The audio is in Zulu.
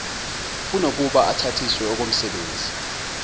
kunokuba uthathiswe okomsebenzi